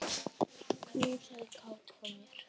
Knúsaðu Kát frá mér.